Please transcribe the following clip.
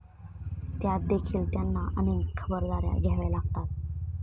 त्यातदेखील त्यांना अनेक खबरदाऱ्या घ्याव्या लागल्या.